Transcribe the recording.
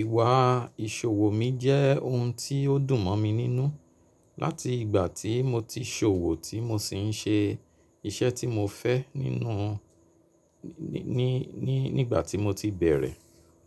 Ìwà ìsòwò mi jẹ́ ohun tí ó dùn mọ́ mi nínú láti ìgbà tí mo ti ṣòwò tí mo sì ń ṣe iṣẹ́ tí mo fẹ́ nínú ní, ní, nígbà tí mo ti bẹ̀rẹ̀.